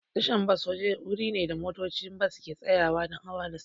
Tasha bas wuri ne da motocin bas ke tsayawa don hawa da sauka.